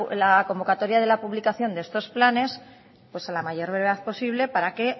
la convocatoria de la publicación de estos planes pues a la mayor brevedad posible para que